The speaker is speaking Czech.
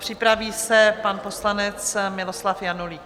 Připraví se pan poslanec Miloslav Janulík.